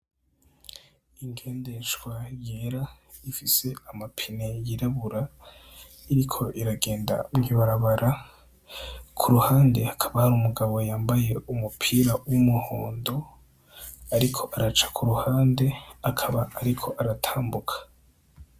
Ingendeshwa yera ifise amapine yirabura iriko iragenda mu ibarabara kuruhande hakaba hari umugabo yambaye umupira wa umuhondo ariko araca kuruhande akaba ariko aratambuka.